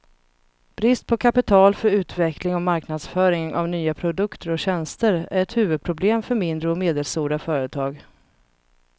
Brist på kapital för utveckling och marknadsföring av nya produkter och tjänster är ett huvudproblem för mindre och medelstora företag.